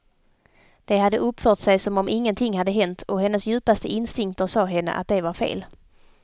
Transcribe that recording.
De hade uppfört sig som om ingenting hade hänt, och hennes djupaste instinkter sade henne att det var fel.